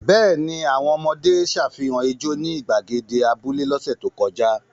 Bẹ́ẹ̀ ni, àwọn ọmọdé ṣàfihàn ijó ní ìgbàgede abúlé lọ́sẹ̀ tó kọjá.